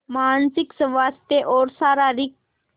मानसिक स्वास्थ्य और शारीरिक स्